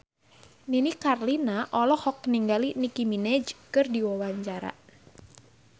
Nini Carlina olohok ningali Nicky Minaj keur diwawancara